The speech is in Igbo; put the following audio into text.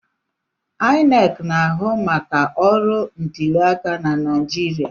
INEC na-ahụ maka ọrụ ntuliaka na Naịjirịa.